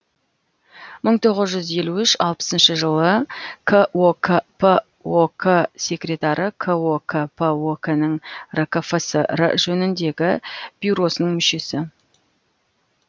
мың тоғыз жүз елу үш алпысыншы жылы кокп ок секретары кокп ок нің ркфср жөніндегі бюросының мүшесі